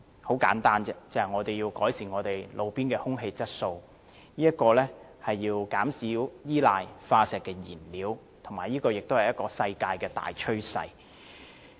很簡單，就是為了改善路邊空氣質素，減少依賴化石燃料，這也是世界的大趨勢。